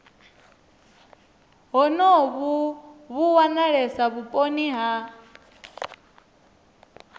honovhu vhu wanalesa vhuponi ha